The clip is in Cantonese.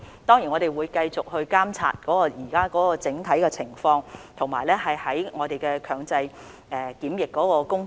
當然，我們會繼續監察現時的整體情況，以及如何繼續處理強制檢疫的工作。